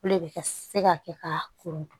O le bɛ ka se ka kɛ ka koro dun